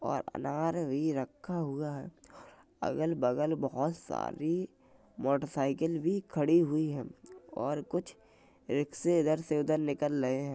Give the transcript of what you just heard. और अनार भी रखा हुआ है| अगल बगल बहुत सारी मोटरसाइकिल भी खड़ी हुई हैं और कुछ रिक्शे इधर से उधर निकल रहे हैं।